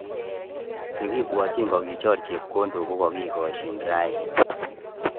Chekipwotchin kokichor chepkondok kokakikoschin rani